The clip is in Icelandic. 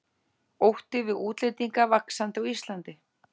Ótti við útlendinga vaxandi á Íslandi